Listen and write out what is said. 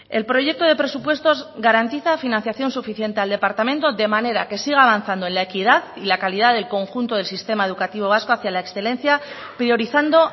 el proyecto de presupuestos garantiza financian suficiente al departamento de manera que siga avanzando en la equidad y la calidad del conjunto del sistema educativo vasco hacia la excelencia priorizando